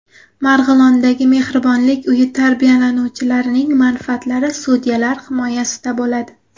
Marg‘ilondagi Mehribonlik uyi tarbiyalanuvchilarining manfaatlari sudyalar himoyasida bo‘ladi.